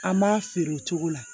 An m'a feere o cogo la